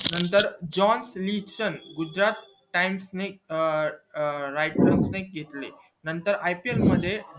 नंतर जॉन दुसऱ्या times ने अं अं ने घेतले नंतर ipl मध्ये